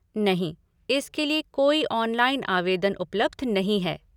नहीं, इसके लिए कोई ऑनलाइन आवेदन उपलब्ध नहीं है।